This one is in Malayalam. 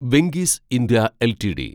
Venky's India LTD